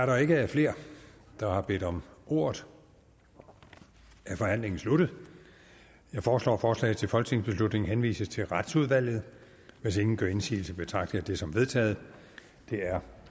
der ikke er flere der har bedt om ordet er forhandlingen sluttet jeg foreslår at forslaget til folketingsbeslutning henvises til retsudvalget hvis ingen gør indsigelse betragter jeg det som vedtaget det er